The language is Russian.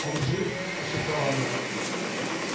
он жив прошептала она